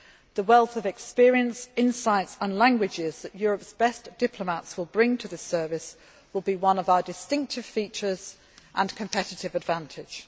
The wealth of experience, insights and languages that Europe's best diplomats will bring to the Service will be one of our distinctive features and competitive advantages.